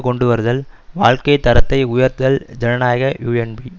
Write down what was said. கொண்டுவருதல் வாழ்க்கை தரத்தை உயர்த்துதல் ஜனநாயக யூஎன்பி